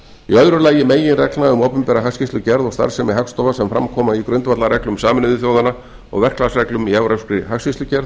í öðru lagi meginreglna um opinbera hagskýrslugerð og starfsemi hagstofa sem fram koma í grundvallarreglum sameinuðu þjóðanna og verklagsreglum í evrópskri hagskýrslugerð